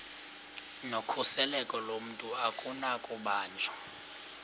nokhuseleko lomntu akunakubanjwa